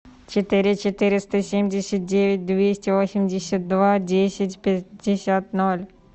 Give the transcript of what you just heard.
четыре четыреста семьдесят девять двести восемьдесят два десять пятьдесят ноль